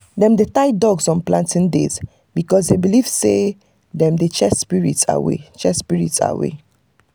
dem dey tie dogs on planting days because them believe say dem dey chase spirits away. chase spirits away.